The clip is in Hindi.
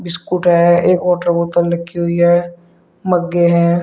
स्कूटर है एक वाटर बोतल रखी हुई है मगे है।